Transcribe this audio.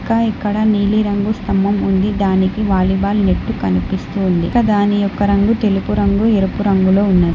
ఇంకా ఇక్కడ నీలి రంగు స్తంభం ఉంది దానికి వాలీబాల్ నెట్టు కనిపిస్తుంది దాని యొక్క రంగు తెలుపు రంగు ఎరుపు రంగులో ఉన్నది.